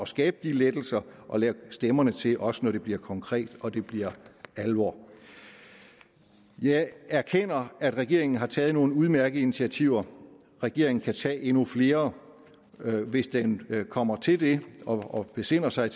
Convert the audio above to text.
skabe de lettelser og lægge stemmerne til også når det bliver konkret og når det bliver alvor jeg erkender at regeringen har taget nogle udmærkede initiativer regeringen kan tage endnu flere og hvis den kommer til det og besinder sig